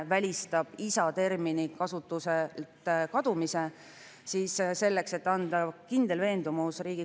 Muudatus tehakse kunstliku viljastamise ja embrüokaitse seaduses ning see on seotud terminoloogilise ühtlustamisega, samamoodi seitsmes, kaheksas ja üheksas muudatusettepanek.